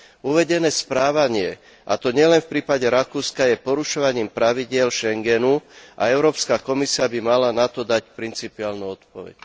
Uvedené správanie, a to nielen v prípade Rakúska, je porušovaním pravidiel Schengenu a Európska komisia by mala na to dať principiálnu odpoveď.